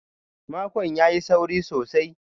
Makon ya yi sauri sosai.